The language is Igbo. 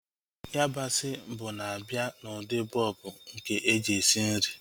Yabasị bụ na-abịa n'ụdị bọlbụ nke eji esi nri